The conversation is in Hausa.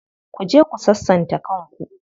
Ku je ku sassanta kan ku.